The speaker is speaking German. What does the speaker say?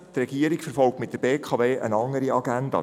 Die Regierung verfolgt mit der BKW eine andere Agenda.